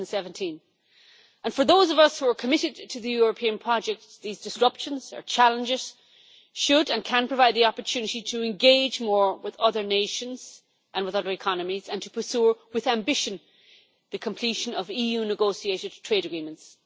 2017. For those of us who are committed to the European project, these disruptions or challenges should and can provide the opportunity to engage more with other nations and with other economies and to pursue with ambition the completion of EU negotiated trade agreements.